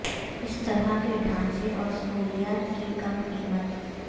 اس طرح کے ڈھانچے اور سہولیات کی کم قیمت